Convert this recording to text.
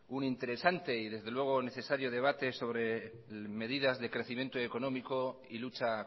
un interesante y desde luego necesario debate sobre medidas de crecimiento económico y lucha